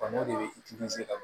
n'o de bɛ ka